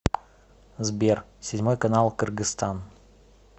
сбер седьмой канал кыргызстан